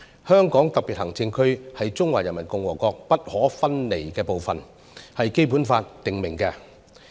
香港特別行政區是中華人民共和國不可分離的一部分，這是《基本法》訂明的。